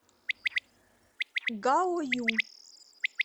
гаою